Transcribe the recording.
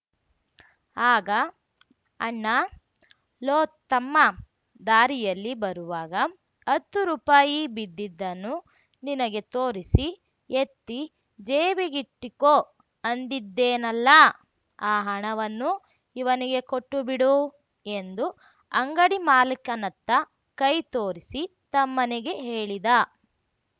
ಆಗ ಅಣ್ಣ ಲೋ ತಮ್ಮಾ ದಾರಿಯಲ್ಲಿ ಬರುವಾಗ ಹತ್ತು ರೂಪಾಯಿ ಬಿದ್ದಿದ್ದನ್ನು ನಿನಗೆ ತೋರಿಸಿ ಎತ್ತಿ ಜೇಬಿಗಿಟ್ಟಿಕೊ ಅಂದಿದ್ದೆನಲ್ಲ ಆ ಹಣವನ್ನು ಇವನಿಗೆ ಕೊಟ್ಟುಬಿಡು ಎಂದು ಅಂಗಡಿ ಮಾಲೀಕನತ್ತ ಕೈ ತೋರಿಸಿ ತಮ್ಮನಿಗೆ ಹೇಳಿದ